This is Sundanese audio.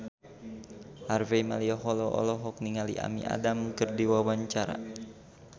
Harvey Malaiholo olohok ningali Amy Adams keur diwawancara